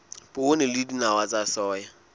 poone le dinawa tsa soya